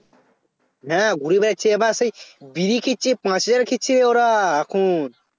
না ঘুরে বেড়াচ্ছে আবার সেই বিড়ি খাচ্ছে পাঁচ হাজার খাচ্ছে ওরা এখন